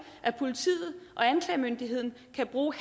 at politiet og anklagemyndigheden kan bruge